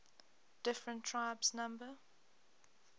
different tribes number